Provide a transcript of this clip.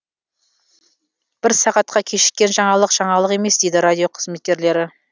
бір сағатка кешіккен жаңалық жаңалық емес дейді радио қызметкерлері